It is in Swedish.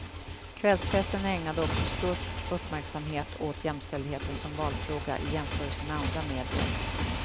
Kvällspressen ägnade också störst uppmärksamhet åt jämställdheten som valfråga, i jämförelse med andra medier.